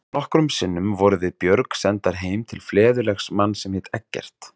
Nokkrum sinnum vorum við Björg sendar heim til fleðulegs manns sem hét Eggert.